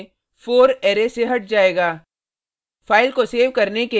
हमारे केस में 4 अरै से हट जायेगा